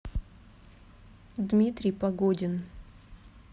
дмитрий погодин